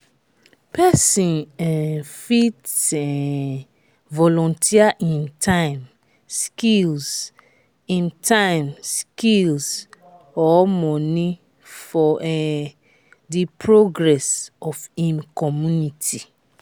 persin um fit um volunteer im time skills im time skills or money for um di progress of im community